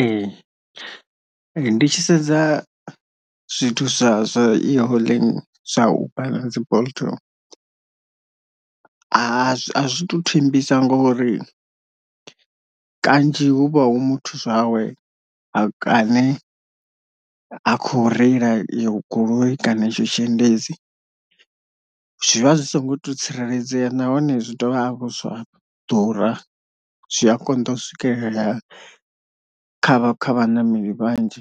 Ee ndi tshi sedza zwithu zwa e-hailing zwa uber na dzi bolt a zwi a zwi tu thembisa ngori kanzhi huvha hu muthu zwawe a kaṋe ha khou reila iyo goloi kana itsho tshiendedzi, zwivha zwi songo to tsireledzea nahone zwi dovha hafhu zwa ḓura zwi a konḓa u swikelelea kha vha kha vhaṋameli vhanzhi